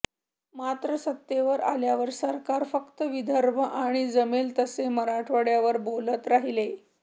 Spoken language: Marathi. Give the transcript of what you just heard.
मात्र सत्तेवर आल्यावर सरकार फक्त विदर्भ आणि जमेल तसे मराठवाडय़ावर बोलत राहिले